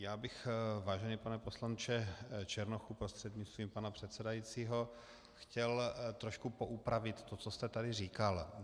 Já bych, vážený pane poslanče Černochu prostřednictvím pana předsedajícího, chtěl trošku poupravit to, co jste tady říkal.